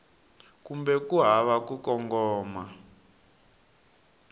kumbe ku hava ku kongoma